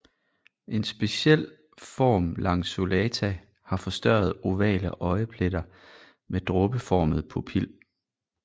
En speciel form lanceolata har forstørrede ovale øjepletter med dråbeformet pupil